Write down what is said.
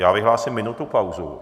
Já vyhlásím minutu pauzu.